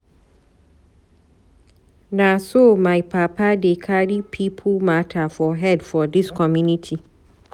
Na so my papa dey carry pipo mata for head for dis community.